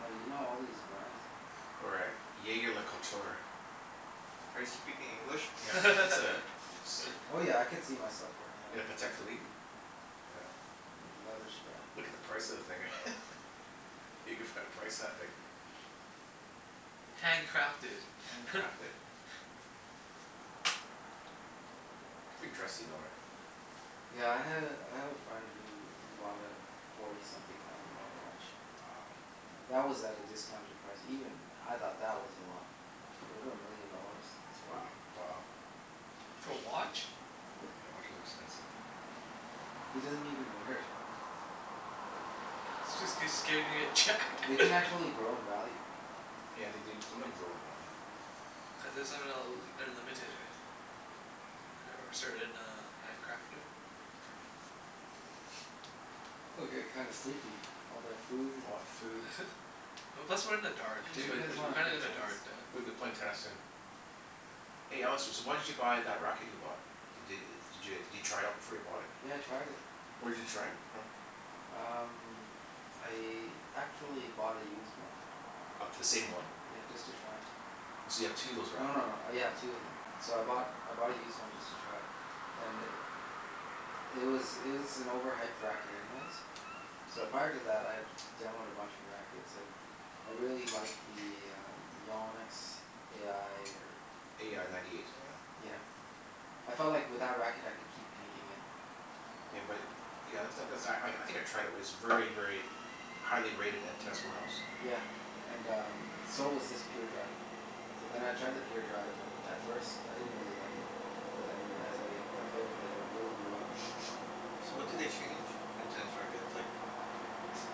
Oh, you know all these brands, eh? Or a jaeger-lecoultre. Are you speaking English? Yeah. It's a it's Oh yeah, I a could see myself wearing In a a Patek Patek Philippe? Philippe, yeah. Yeah. Yeah, leather strap. Look at the price of the thing. You can find a price of that thing. Hand crafted. Hand crafted. Pretty dressy though, eh? Yeah, I had a, I have a friend who who bought a forty something thousand dollar watch. Wow. Yeah. That was at a discounted price. Even I thought that was a lot. But over a million dollars? That's Wo- crazy. wow. For a watch? Yeah. Yeah, watch is expensive. He Mm. doesn't even wear it. Jus- cuz scared he's gonna get jacked. They can actually grow in value, though. Yeah, they do, some of them Yeah. grow in value. Cuz it somehow l- they're limited, right? Right? Or a certain uh hand crafter? Yeah. Oh, I'm getting kind of sleepy. All that food and All that food. Well, plus we're in the dark, We Sure should too. you play, guys we should, We're w- wanna kinda play in the tennis? dark duh w- we be playing tennis soon. Oh. Hey Alex, s- so why did you buy that racket you bought? D- d- did you try it out before you bought it? Yeah, I tried it. Where did you try it from? Um, I actually bought a used one. Of the same one? Yeah, just to try. Oh, so you have two of those No rackets no no. now? Yeah, I have two of them. So I bought, I bought a used one just to try. And i- it was it was an overhyped racket anyways. So Uh prior to that I had demoed a bunch of rackets and I really liked the uh Yannick's a i or A i ninety eight, something like that? Yeah. I felt like with that racket I could keep anything in. Yeah but, yeah that's not, cuz I I think I tried it. It was very, very highly rated at test warehouse. Yeah, and um so was this Pure Drive. So then I tried the Pure Drive and at first, I didn't really like it. But then as I I played with it, it really grew on me. So, what do they Uh change in tennis rackets? Like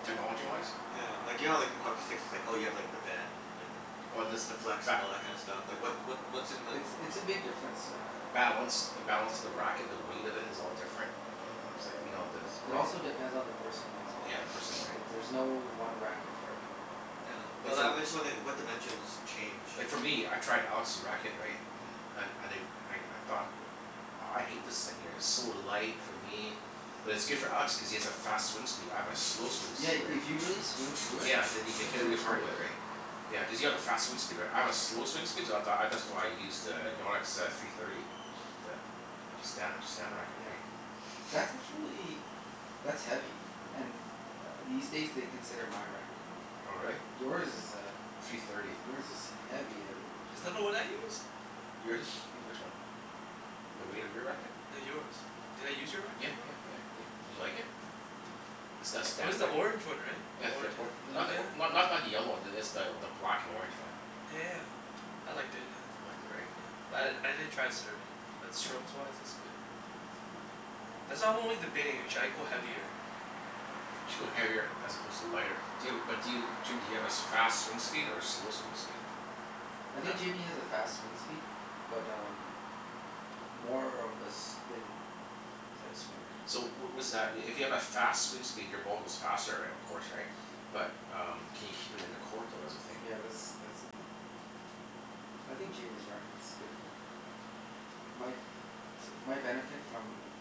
technology-wise? Yeah. Like, you know like how hockey sticks it's like, oh you have like the bend and Oh this, the flex, and ba- all that kind of stuff? Like what what what's in the It's it's a big difference, uh Balance. The Yeah. balance of the racket. The weight of it is all different. Mhm. It's like, you know, there's Yeah. It grommet also hole depends on the person as well. Yeah, the person, right? It, there's no one racket for everyone. Yeah, but Like, li- for I'm just wondering what dimensions change? Like for me, I tried Alex's racket, right? Yeah. Mhm. And I di- I I thought that aw I hate this thing here. It's so light for me. But it's Mhm. good for Alex cuz he has a fast swing speed. I have a slow swing Yeah, speed, right? if you really swing through it Yeah, then you can hit then really it's hard great. with it, right? Yeah. Yeah, Mhm. Mm. cuz you have a fast swing speed, right? I have a slow swing speed so th- I that's why I use to Yannick's uh three thirty. The Stan Stan racket, Yeah. right? That's actually that's heavy. And uh these days they consider my racket heavy. Oh, But really? yours is uh, Three thirty. yours is heavy heavy. Is that the one I use? Yours is e- which one? The weight of your racket? No, yours. Did I use your Yeah racket before? yeah Huh. yeah yeah. Did you like it? The St- It was Stan the rack- orange one, right? The Yeah the orange or- and, oh not the or- yeah. not not the yellow one. It's the the black and orange, yeah. Yeah yeah yeah. I liked it, yeah. You liked it, right? Yeah. But I I didn't try it serving. But strokes-wise it's good, yeah. Yeah. That's I'm only debating. Should I go heavier? You should go heavier as opposed to lighter. Do you have a, but do you, Jim do you have as fast swing speed or a slow swing speed? I Huh? think Jimmy has a fast swing speed. But um more of a spin type swinger. So w- was that i- if you have a fast swing speed your ball goes faster, right, of course, right? But um can you keep it in the court though? That's the thing. Yeah, that's that's the thing. I think Jimmy's racket's good for him. My my benefit from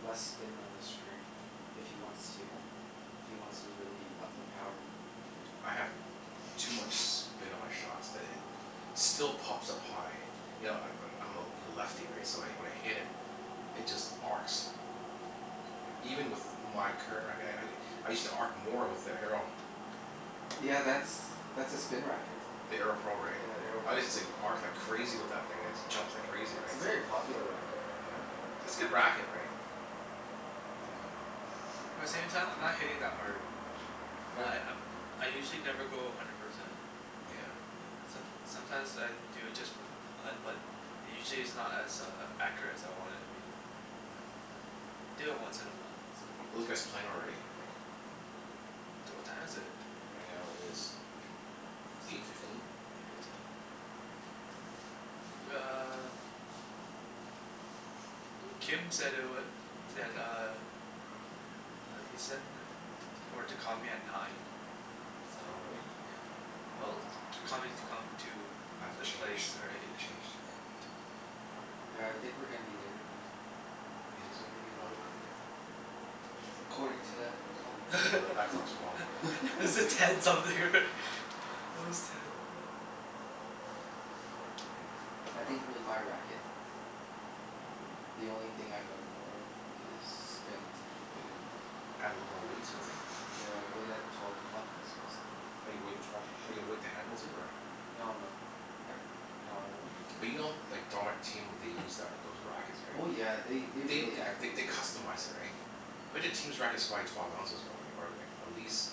less spin on the string. If he wants Hmm. to if he wants to really up the power, Mm. right? I have too much spin on my shots that it still pops up high. You know I- I'm I'm a l- lefty, right? So wh- when I hit it it just arcs. Yeah. Even with my current racket. I I I I used to arc more with the Arrow. Yeah, that's that's a spin racket. The Arrow Pro, right? Yeah, the Arrow I Pro. used to arc like crazy with that thing. It just jumps like crazy, It's right? a very popular racket. Yeah. It's good racket, right? Yeah. Yeah. But at the same time, I'm not hitting that hard. Yeah. Li- I'm I usually never go a hundred percent. Nyeah. Yeah. Som- sometimes I do it just for f- fun, but usually it's not as uh accurate as I want it to be. Mm. So, do it once in a while. So Are those guys playing already, you think? D- what time is it? Right now it is eight fifteen. Eight fifteen? Yeah. W- uh Kim said it wa- that uh uh he said i- t- for to call me at nine. So, Oh, really? yeah. Well to call me to come to I have to the place, change, I have to right? get Yeah. changed here, Yeah. right? All right. Yeah, I think we're gonna be later than nine. You think Maybe a so? Oh. little bit later? According to that clock. Well th- that clock's wrong. Is it ten something, right? It was ten. I Yeah, aw think I with my racket um the only thing I'd like more of is spin to keep it in more. Add a little more Mm. weight sort of thing? Yeah, weight at the twelve o'clock, that's what I was thinking. Oh, you weight at twelve oh, you weight the handle too, or No no. I, no, I won't weight the But you know handles. like what they use that those rackets, right? Oh yeah, they they They really th- add th- weight they to it. customize it, right? Yeah. I bet that team's racket's probably twelve ounces probably, or like at least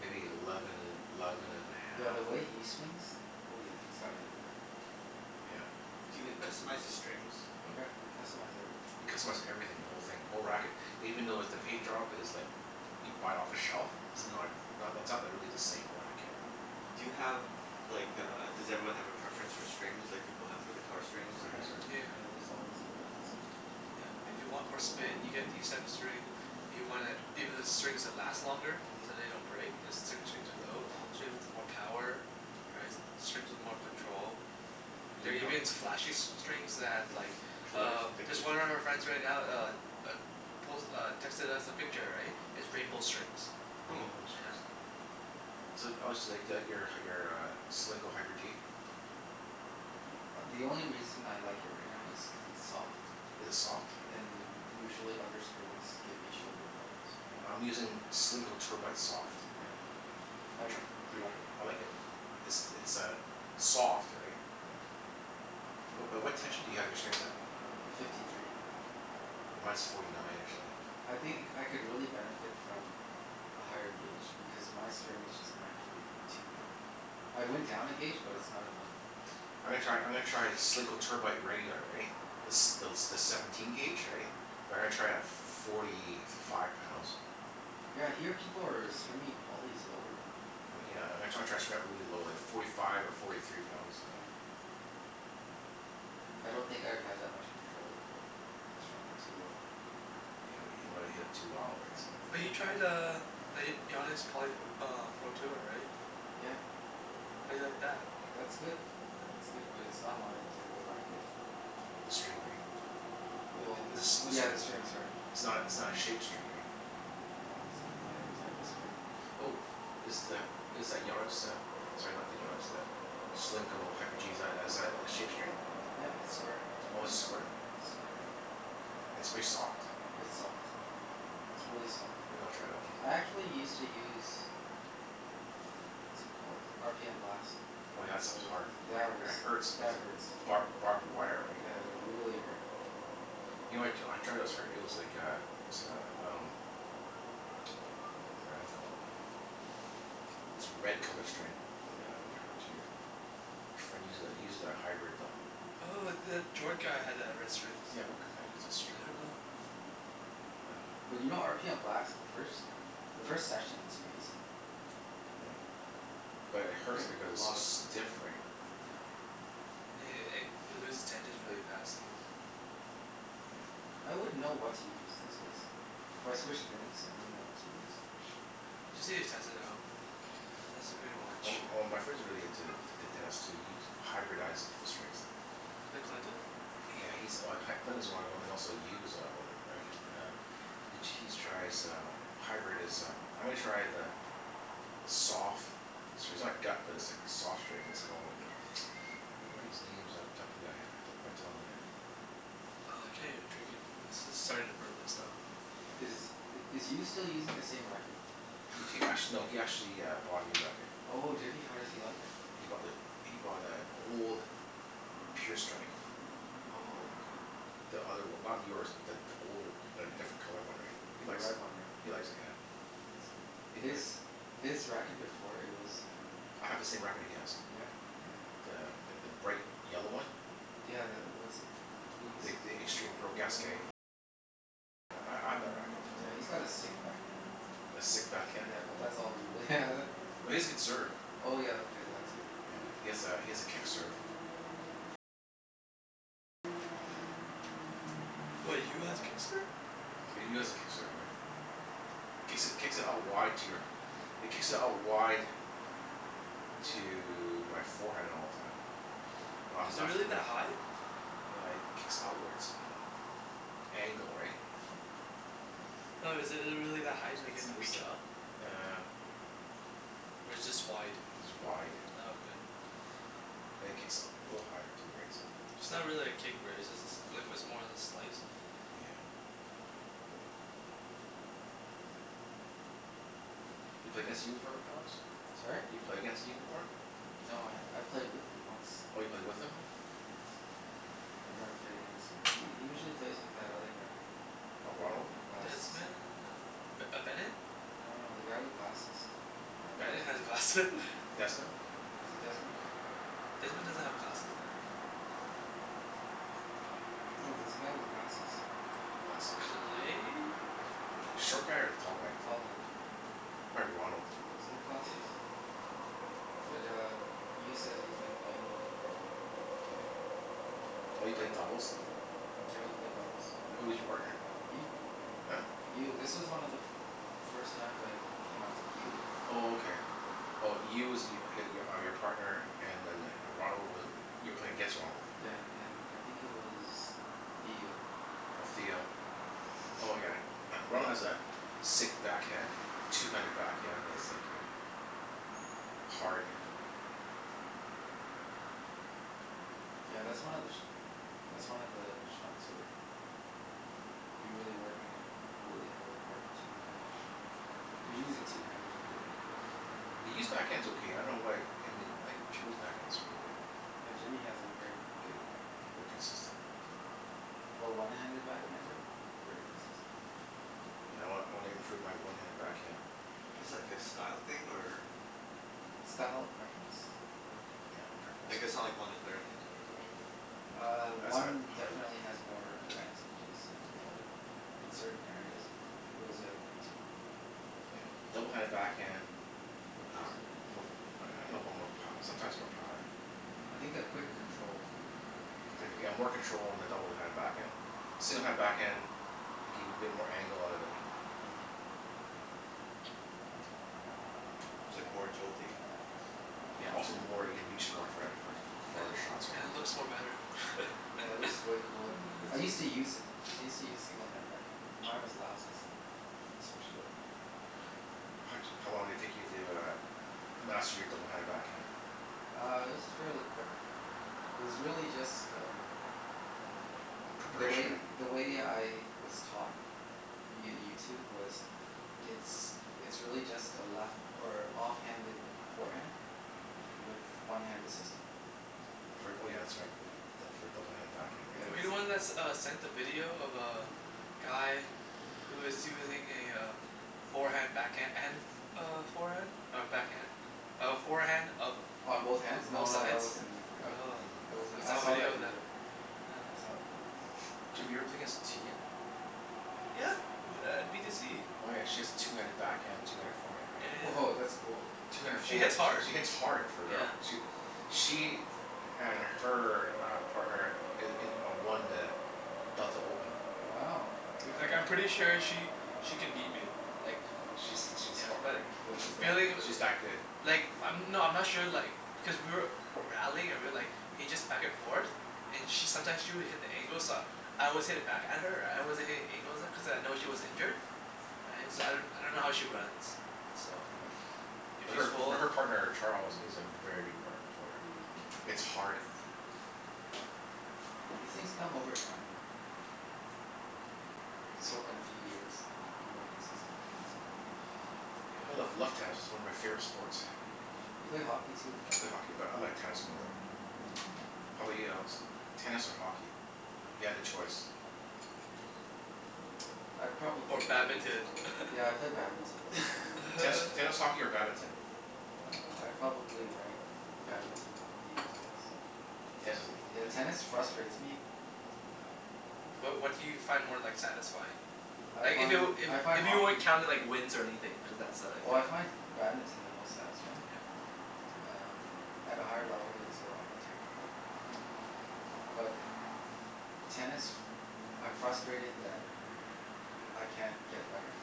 maybe eleven and eleven and a Yeah, half, the or way he swings Oh yeah, he's got a heavy racket. Yeah. Do I- uh you but customize the strings? Hmm? Yeah, you can customize everything. You customize everything. The whole thing. The whole racket. Even though with the paint job is like Yeah. you buy it off the shelf. It's uh-huh. not as, not that's not really the same racket. Do you have like a, does everyone have a preference for strings like people have for guitar strings? Everybody Yeah. has their Yeah. Yeah, there's always a preference. Yeah. If you want more spin you get these type of string If you want it, even the strings that last longer. Mhm. So they don't break. There's s- strings of tho- Strings with more power. Right? S- strings with more control. You There are oh even s- flashy s- strings that have like Colors uh, and just pictures one and of our stuff? friends right now uh uh, pos- uh, texted us a picture, right? Is rainbow strings. Oh. Rainbow Yeah. strings. So oh so you like the out your uh your uh Solinco Hyper G? A- the only reason I like it right now is cuz it's soft. Is it soft? And usually other strings give me shoulder problems. Yeah, I'm using Solinco Tour Bite soft. Yeah. How Have di- you tri- do you Are y- like it? I like it. It's it's a soft, right? Yeah. But but what tension do you have your strings at? Uh, fifty three. Mine's forty nine, actually. I think I c- could really benefit from a higher gauge, because my string is just naturally too thick. I went down a gauge but it's not enough. I'm gonna try, I'm gonna try Solinco Tour Bite regular, right? The s- thel- the seventeen gauge, Yeah. right? But I'm gonna try it at forty five pounds. Yeah, I hear people are stringing polys lower now. Oh yeah, I'm gonna try try to string that really low, like forty five or forty three pounds. Yeah. Mm. I don't think I'd have that much control if I strung it too low. Yeah, you don't wanna hit it too wild, Yeah, right? So but Yeah. you tried uh the Y- Yannick's poly p- uh Pro Tour, right? Yeah. Yeah? How do you like that? That's good. Yeah. It's good. But it's not my type of racket. Mm. The string, right? W- Th- well i- it's a smooth yeah, string, the i- string's hard. it's not it's not Mm. a shaped string, right? Yeah, it's not my type of string. Mhm. Oh. Is the, is that Yannick's uh, sorry, not the Yannick's, the Solinco Hyper G, is that as a shape string? Yeah, it's square. Oh, it's square? Oh, Square. okay. It's pretty soft? It's soft. It's really soft. Maybe I'll try that one. I actually used to use uh, what's it called? R p m Blast. Oh yeah, that Oh stuff's well, hard. I- that was, it hurts, like that the hurts. barb- barbed wire, right? Yeah, they really hurt. You know what I t- try that was hurt? It was like a it was like a um what was that brand called? This red color string. That one hurt too. My friend uses it, he uses a hybrid, though. Oh, the Jord guy had the red strings. Yeah, what k- k- what was that I string don't called? know. But you know r p m Blast, the first the first session it's amazing. Yeah. Yeah. But it Get hurts because re- a it's so lot of spin. stiff, right? Yeah. Yeah yeah yeah. It it loses tensions really fast, too. Yeah. I wouldn't know what to use these days. If I switched strings, I wouldn't know what to use. Yeah. You just need to test it out. Yeah. That's the pretty Well much m- m- my friend's really into t- tennis too. He hyberdized the strings. The Clinton? Yeah, he's like C- Clinton's one of them, and also Yu is uh one of them, right? Mm. Um He he's tries uh hybrid is uh, I'm gonna try the the sof- gut but it's like soft string. It's called I can't remember these names off the top of my he- top of my tongue whadat- Oh, I can't even drink anymore of this. This is starting to burn my stomach. Is Yeah. is Yu still using the same racket? He t- act- no, he actually bought a new racket. Oh, did he? How does he like it? He he he bought the, he bought the old Pure Strike. Oh, okay. The other one. Not yours but th- the older, the Yeah. different colored one, right? He The likes red it. one, right? He likes it, yeah. Oh, yeah, that's good. He His like his racket before, it was um I have the same racket he has. Yeah, uh The th- the bright yellow one. Yeah, the, what's, who uses it again? Yeah, he's got a sick backhand. A sick backhand? Yeah, but that's all he really has. No, he has a good serve. Oh yeah, okay, that too. Yeah. He has a he has a kick serve. What, Yu has a kick serve? Yu has a kick serve, yeah. Mm. Kicks it kicks it out wide to your It kicks out wide to my forehand all the time. I'm Is it left really that left ha- high? Yeah, he kicks outwards angle, right? Hmm. No, is it it really that high, like you have to reach up? Uh Or it's just wide? Just wide. Oh, okay. And it kicks u- a little higher too, right? So It's not really a kick, right? It's just a sl- like, it was more of a slice. Yeah. You play against Yu before, right Alex? Sorry? You play against Yu before? No, I've played with him once. Oh, you played with him? Yeah, once. I've never played against him. He he usually plays with that other guy. A Ronald? W- with glasses. Desmond? Oh, B- uh Bennett? No no, the guy with glasses. I don't know Ben- Bennett his name. has glasse- Desmond? Is it Desmond? Desmond doesn't have glasses though. No, there's a guy with glasses. Glasses? Clay? Short guy or the tall guy? Tall guy. Probably Ronald. Does he have Yeah yeah glasses? yeah. Yeah. Mm. But uh Yu says he's been playing with him for a while. Yeah. Oh, you played doubles w- Yeah, we played doubles. Who was your partner? Yu. Huh? Yu. This was one of the f- first times I came out to q e. Oh, okay. Mm. Oh, Yu was y- h- are your partner and then the Ronald was you were playing against Ronald? Yeah, and I think he was Theo. Oh, Theo. Yeah. Oh yeah. Ronald has a sick backhand. two-handed backhand that's like a like hard. Yeah, that's one of the sh- that's one of the shots where you really work on it you could really have a hard two-handed backhand. You're using two hands, right? Yeah. B- but Yu's backhand's okay. I dunno why I mean I think Jimmy's backhand's really good. Yeah, Jimmy has a very good backhand. Very consistent. For a one-handed backhander? Very consistent. Yeah, I wan- I wanna improve my one-handed backhand. Is that like a style thing or Style preference. Preference. Yeah. Yeah, preference, Like, yeah. it's not like one is better than the other or Uh, That's how I one how I definitely has more advantages than the other. In certain areas. And it goes the other way too. Yeah. Mm. double-handed backhand More is power? more I dunno about more pow- sometimes more power. I think the quick control. Con- yeah, more control on the double-handed Yeah. backhand. single-handed backhand, like you can get more angle out of it. Mhm. It's like more agility. Yeah, also more, you can reach more for for f- And farther shots, i- right? it looks more better. Yeah, it looks way cooler. Yeah. I used to use it. I used to use Mm. single-handed backhand, but mine was lousy, so I switched over. How d- how long did it take you to uh master your double-handed backhand? Uh, it was fairly quick. Mm. It was really just um the Preparation, way right? the way I was taught via YouTube was it's it's really just a left or off-handed forehand with one hand assisting. Fr- oh yeah, that's right. Yeah, Yeah. d- for a double-handed backhand, Yeah, right? Were you that's the it, one that s- that's what uh it is. sent the video of uh guy who is using a uh forehand backhand and f- f- uh forehand? Or backhand? A forehand of On both b- hands? No both no, sides? that wasn't me. Oh. Mm. That wasn't I me. I saw a saw that video of that. video. Yeah. I saw that video. Jimmy, you ever play Yeah. against Tia? Yeah, u- b- at b to c. Oh yeah, she has two-handed backhand, two-handed forehand, Yeah right? yeah Woah, that's cool. yeah. Yeah. two-handed She foreha- hits hard. she hits hard for a girl. Yeah. She w- she and her uh partner i- in a won the Delta Open. Wow, Yeah. good Mhm. for Like I'm them, hey? pretty sure she she could beat me, like She's she's yeah, har- yeah. but Was the she that feeling good? w- She's that good. Like, I'm, no I'm not sure like because we were rallying or we like he just back and forth. And she sometimes she would hit the angles uh I always hit it back at her Right? I wasn't hitting angles at cuz I know she was injured. Right? So I d- I don't know how she runs. So Yeah. if But she's her but full her partner Charles is a very good part- player. Mm. Hits hard. Yeah. These things come over time, right? Just hope in a few years be more consistent, that's all. Yeah, I love love tennis. It's one of my favorite sports. Yeah. You play hockey too, right? I play hockey but I like tennis more. How 'bout you, Alex? Tennis or hockey? If you Oh. had a choice. I'd Or probably play badminton? Yeah, I'd play badminton. Tennis Ten tennis, hockey, or badminton? Uh, I'd probably rank badminton, hockey, and tennis. Tennis is l- i- Yeah, i- tennis frustrates me. Um Wha- what do you find more like satisfying? I Like if it find, w- I if find if you weren't hockey counting like wins or anything, cuz that's a like Oh a I find badminton the most satisfying. Yeah. Um, at a higher level it's a lot more technical. Mm. But tennis, I'm frustrated that I can't get better,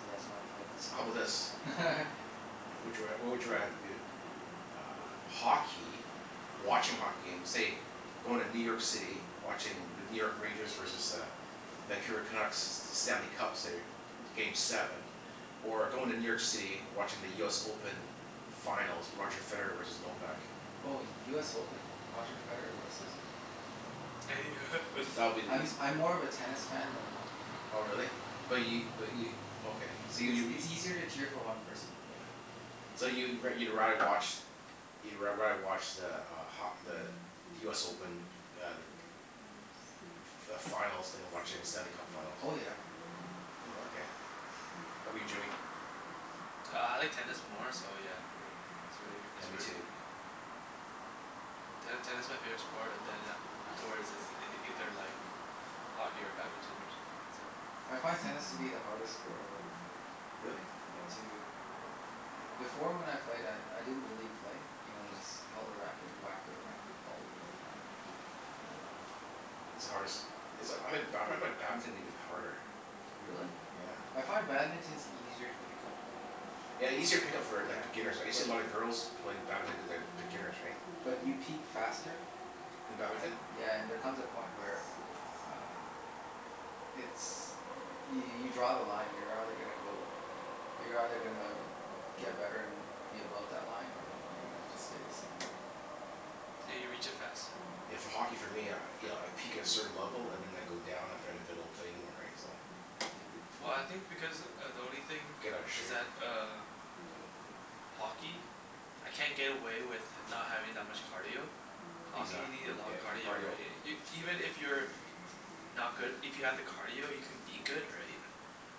so that's why I'm playing more So how tennis. bout Mm. this? Mhm. What would you r- what would you rather do? Um, hockey watching hockey game, say going to New York City. Watching the New York Rangers versus the Vancouver Canucks, Stanley Cup, say, game seven. Or going to New York City, watching the US Open finals. Roger Federer versus Novak. Oh, US Open. Roger Federer versus Mm. Novak. That would be the eas- I'm I'm more of a tennis fan than a hockey fan. Oh really? But Yeah. y- but y- okay. So y- It's you w- it's easier to cheer for one person. Yeah. So you wo- you'd rather watch you'd r- rather watch the uh ho- the the US Open uh like f- f- finals than watching the Stanley Cup finals? Oh yeah, yeah. Mm. Mm. Oh, okay. How 'bout Yeah. you Jimmy? Uh I like tennis more so yeah It's really, Yeah. Yeah, it's me really, too. yeah Ten- tennis my favorite sport, then a- afterwards is ei- either like hockey or badminton or something. That's it. I find tennis to be the hardest sport I've ever played. Really? Yeah, to Before when I played I I didn't really play. You know, I Mm. just held a racket and whacked it around and the ball would Mm. go flying. Um It's the hardest is But I ha- ba- I find badminton even harder. Really? Hmm. Yeah. I find badminton's easier to pick up. Yeah, easier to pick up for like Yeah, beginners, right? You see but a lot of girls playing badminton cuz they have beginners, right? But you peak faster In badminton? and, yeah, and there comes a Mm. point where uh it's, y- you draw the line. You're either gonna go, you're either gonna get better and be above that line or Mhm. you're gonna just stay the same. Hmm. Yeah, you reach it faster. Yeah, Yeah. for hockey for me, I you know I peak at a certain level and then I go down after if I don't play anymore, right? So Yeah. Well, I think because uh the only thing Get outta is shape. that uh hockey? I can't get away with h- not having that much cardio. Hockey, Exac- you need a lot yeah, of in cardio, cardio. right? I- Y- even if you're not good, if you have the cardio you can be good, right?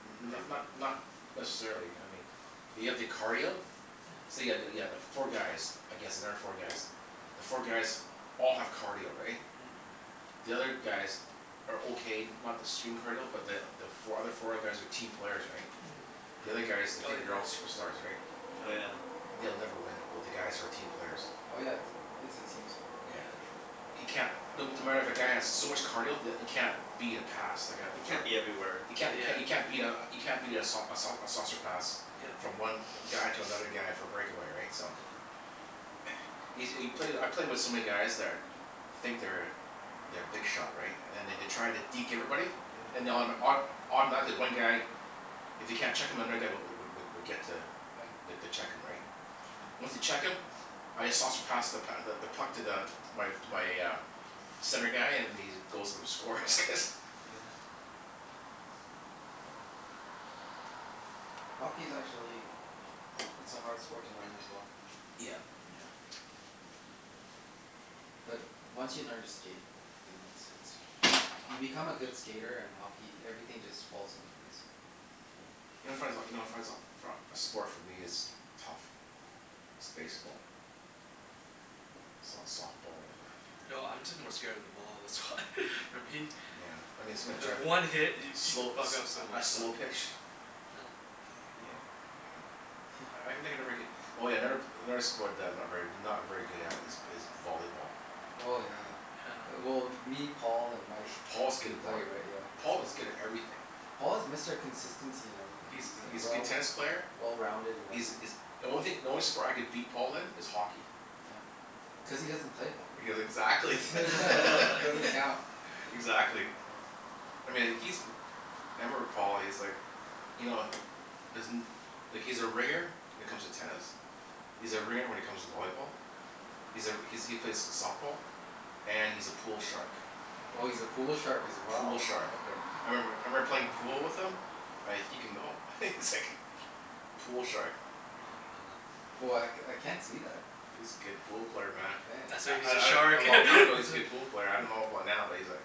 N- Right? not not But not necessarily, I mean if you have the cardio say Mhm. yeah yeah yeah the four guys against another four guys. The four guys all have cardio, right? Mm. The other guys are okay. Not the stream cardio but the the fo- other four guys are team players, right? The other guys, Mm. they Mm. Oh, think they're yeah all yeah. superstars, right? Oh yeah. Yeah. They'll never win with the guys who are team Mm. players. Oh yeah, it's a team sport Yeah. Mm. for sure. You can't No no matter if a guy has so Yeah. much cardio that you can't beat a pass. Like a You like Mhm. a can't be everywhere. You can't c- Yeah. you can't beat a you can't beat a sau- a sau- a saucer pass. Yeah. Yeah. Mm. From one guy to another guy for a breakaway, right? So Yeah. Yo- you play I play with so many guys that are think they're they're big shot right? And they d- try to deke everybody? And Mhm. they autom- auto- automatically one guy if they can't check him another guy w- w- w- would get to Yeah. the to check him, right? Once they Myeah. check him I just saucer pass the p- th- the puck to the to my to my uh center guy and then he just goes for the score cuz Yeah. Yeah. Hockey's actually it's a hard sport to learn as well. Yeah. Hmm. Yeah. But once you learn to skate then it's it's you become a Woah. good skater and hockey, everything just falls into place. You know what I find so, you know what I find so for a a sport for me is tough is baseball. S- softball, whatever. No, I'm just more scared of the ball, that's why. For me. Yeah, I mean someone's Cuz trying to one hit, y- you could slow a fuck up so sl- a much stuff. slow pitch Yeah. he uh yeah. Yeah. I can think I never get Oh yeah, never p- another sport that I'm not very not very good at is b- is volleyball. Oh, yeah. Yeah. Well me, Paul, and Mike. If Paul's good We at play, voll- right? Yeah, Paul so was good at everything. Paul is Mr. Consistency in everything. He's He's uh he's a good well tennis player. well-rounded in He's everything. is The only thing, the only sport I could beat Paul in is hockey. Yeah. Cuz he doesn't play hockey. Cuz exactly. Doesn't count. Exactly. Doesn't count. I mean, like he's m- I remember Paul. He's like you know doesn't like he's a ringer when it comes to tennis. He's a ringer when it comes to volleyball. He's a r- he's he plays softball. And he's a pool shark. Oh, he's a pool shark as Pool well? shark. Okay. I remember I Mhm. remember playing pool with him like he can, no, he's Mm. like pool shark. Oh, Hmm man. Oh, I c- I can't see that. He's a good hmm. pool player, man. Mkay. That's why I he's a I d- a shark. long That's time ago he's a why good pool player. I dunno about now but he's like